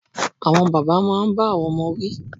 Àwọn bàbá máa n bá àwọn ọmọ wí